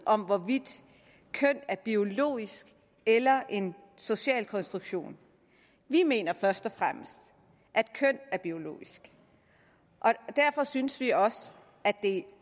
om hvorvidt køn er biologisk eller en social konstruktion vi mener først og fremmest at køn er biologisk og derfor synes vi også at det